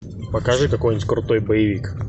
покажи какой нибудь крутой боевик